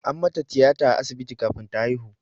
An mata tiyata a asibiti kafin ta haihu.